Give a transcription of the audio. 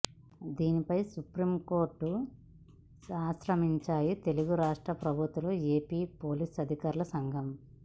దీనిపై సుప్రీం కోర్టును ఆశ్రయించాయి తెలుగురాష్ట్ర ప్రభుత్వాలు ఏపీ పోలీస్ అధికారుల సంఘం